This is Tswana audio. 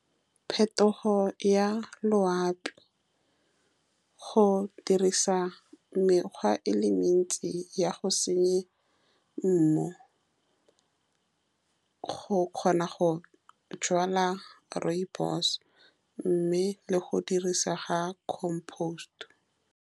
Phetogo ya loapi go dirisa mekgwa e le mentsi ya go senya mmu. Go kgona go jala rooibos-e, mme le go dirisa ga compost-e.